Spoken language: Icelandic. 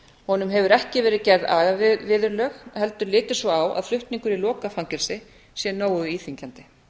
honum hefur ekki verið gerð agaviðurlög heldur litið svo á að flutningur í lokað fangelsi sé nógu íþyngjandi